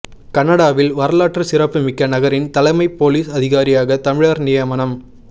கனடாவில் வரலாற்று சிறப்புமிக்க நகரின் தலைமை பொலிஸ் அதிகாரியாக தமிழர் நியமனம்